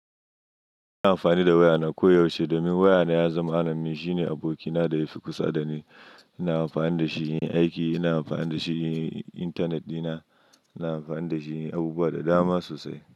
Ina amfani da wayana koyaushe domin wayana ya zama rannanin shine abokina da yafi kusa dani. Ina amfani da shi yin aiki, ina amfani da shi yin intanet dina, ina amfani da shi yin abubuwa da dama sosai.